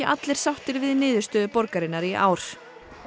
sáttir við niðurstöðu borgarinnar í ár